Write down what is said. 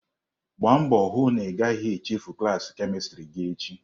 Gbaa mbọ hụ na ị gaghị echefu klaasị kemistri gị echi!